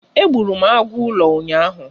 Egburu m agụ ụlọ ụnyaahụ.